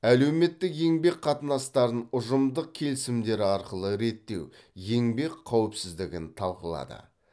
әлеуметтік еңбек қатынастарын ұжымдық келісімдер арқылы реттеу еңбек қауіпсіздігін талқылады